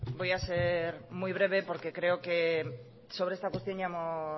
voy a ser muy breve porque creo que sobre esta cuestión ya hemos